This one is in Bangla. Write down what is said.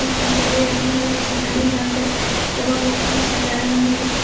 পাঞ্জাবির রং হলো সোনালী রঙ্গের এবং একটি সাদা রঙ্গের।